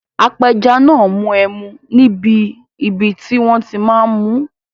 Apẹja náà n mu ẹmu níbi ibi tí wọ́n ti máa n mú